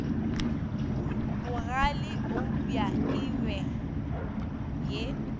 bogale eupša e be ye